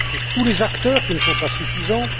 tous les acteurs qui ne sont pas suffisants